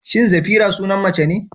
Shin Zafira sunan mace ne?